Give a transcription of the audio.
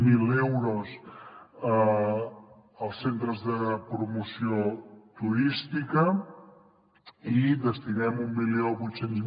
zero euros els centres de promoció turística i destinem mil vuit cents